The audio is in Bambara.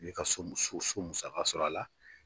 I b'i ka so so musaka sɔrɔ a la